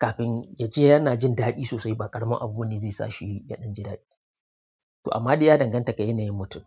kafin ya je yana jin daɗi sosai ba ƙaramin abu wanda zai sa shi ya ɗan ji daɗi. To amma dai ya danganta ga yanayin mutum.